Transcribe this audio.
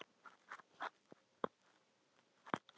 Kolbrá, spilaðu lagið „Ég er kominn“.